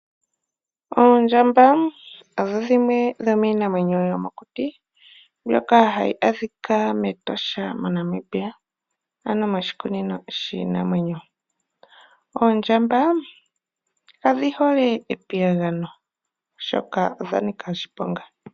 Oondjamba odho dhimwe dho miinamwenyo yomokuti mbyoka hayi adhika mEtosha moNamibia ano moshikunino shiinamwenyo. Oondjamba kadhi hole epiyagano oshoka odha nika oshiponga.